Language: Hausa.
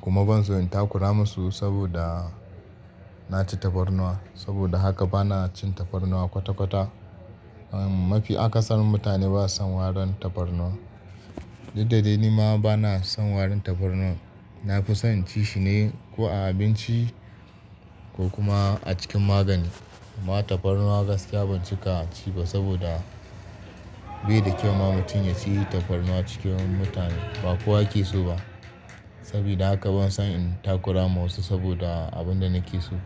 kuma ban so in takura masu saboda na ci tafarnuwa. Saboda haka ba na cin tafarnuwa kwata-kwata. Mafi akasarin mutane ba su son warin tafarnuwa. Dukda dai ni ma ba na son warin tafarnuwa. Na fi son ci shi ne ko a abinci ko kuma a cikin magani. Amma tafarnuwa gaskiya ban cika ci ba saboda bai da kyau ma mutum ya ci tafarnuwa cikin mutane, ba kowa ake so ba. Sabida haka ban son in takura ma wasu saboda abin da na ke so.